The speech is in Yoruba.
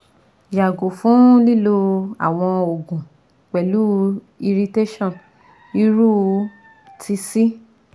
Yago fun lilo awọn oogun pẹlu irritation iru ti C